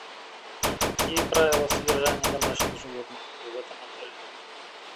а какие правила содержания домашних животных в этом отеле